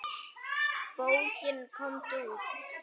Bókin Komdu út!